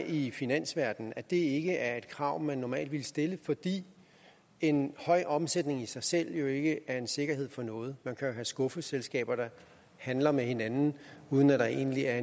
i finansverdenen at det ikke er et krav man normalt ville stille fordi en høj omsætning i sig selv ikke er en sikkerhed for noget man kan jo have skuffeselskaber der handler med hinanden uden at der egentlig er